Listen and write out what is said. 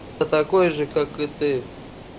я такой же как и ты